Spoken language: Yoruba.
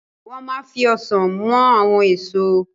Wọ́n ma fi Ọsàn mọ àwọn èso